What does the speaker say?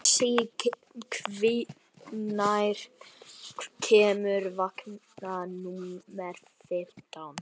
Betsý, hvenær kemur vagn númer fimmtán?